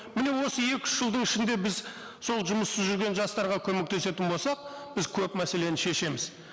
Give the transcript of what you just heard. міне осы екі үш жылдың ішінде біз сол жұмыссыз жүрген жастарға көмектесетін болсақ біз көп мәселені шешеміз